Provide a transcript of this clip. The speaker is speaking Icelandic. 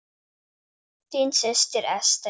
Þín systir, Ester.